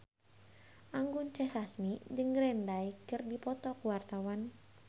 Anggun C. Sasmi jeung Green Day keur dipoto ku wartawan